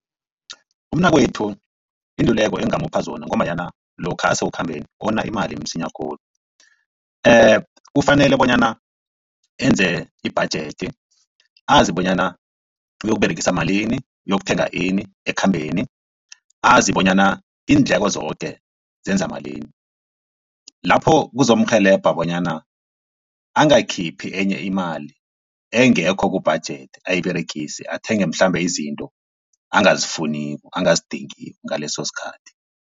Umnakwethu iinluleko engamupha zona ngombanyana lokha asekukhambeni wona imali msinya khulu. kufanele bonyana enze ibhajethi azi bonyana uyokuberegisa malini uyokuthenga ini ekhambeni azi bonyana iindleko zoke zenza malini. Lapho kuzomurhelebha bonyana angakhiphi enye imali engekho kubhajethi ayiberegise athenge mhlambe izinto angazifuniko angazidingiko ngaleso sikhathi.